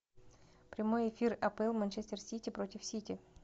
прямой эфир апл манчестер сити против сити